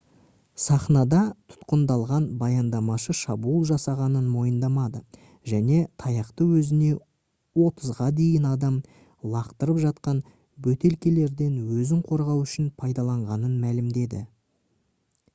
сахнада тұтқындалған баяндамашы шабуыл жасағанын мойындамады және таяқты өзіне отызға дейін адам лақтырып жатқан бөтелкелерден өзін қорғау үшін пайдаланғанын мәлімдеді